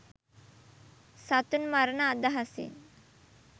සතුන් මරණ අදහසින්